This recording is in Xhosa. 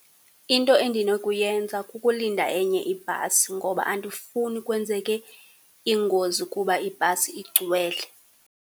Into endinokuyenza kukulinda enye ibhasi, ngoba andifuni kwenzeke ingozi kuba ibhasi igcwele.